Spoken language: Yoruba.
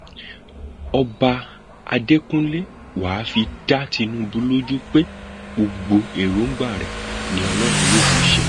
ọba adẹkúnlẹ wàá fi dá tinubu lójú pé gbogbo èròǹgbà rẹ ni ọlọrun yóò mú ṣẹ